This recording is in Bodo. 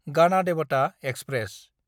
गानादेबाथा एक्सप्रेस